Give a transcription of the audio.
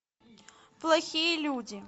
плохие люди